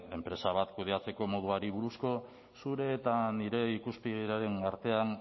enpresa bat kudeatzeko moduari buruzko zure eta nire ikuspegiaren artean